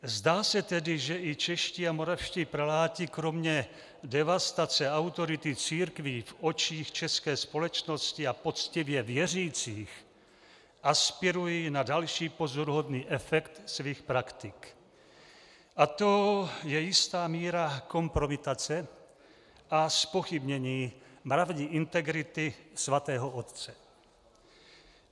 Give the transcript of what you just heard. Zdá se tedy, že i čeští a moravští preláti kromě devastace autority církví v očích české společnosti a poctivě věřících aspirují na další pozoruhodný efekt svých praktik, a to je jistá míra kompromitace a zpochybnění mravní integrity Svatého otce.